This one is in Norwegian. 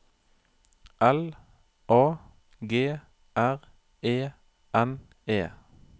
L A G R E N E